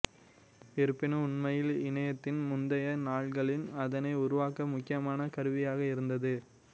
இருப்பினும் உண்மையில் இணையத்தின் முந்தைய நாள்களில் அதனை உருவாக்க முக்கியமான கருவியாக இருந்தது